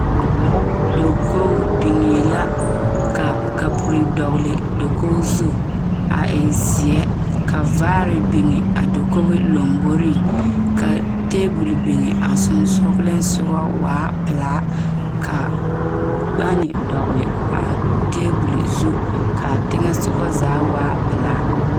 Dakoo niŋee la ka kapuri dɔgele dakoo zu a e zeɛ ka vaare biŋ a dakoo lamboriŋ kaa taabol biŋ a sonsoŋeleŋ soga waa zeere taa pelaa ka gane dɔgele a taabol zu kaa teŋa soɔ zaa waa pelaa